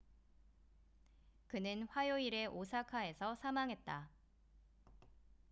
그는 화요일에 오사카에서 사망했다